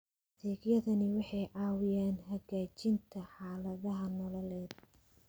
Adeegyadani waxay caawiyaan hagaajinta xaaladaha nololeed.